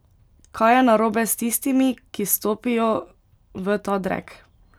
Kaj je narobe s tistimi, ki stopijo v ta drek?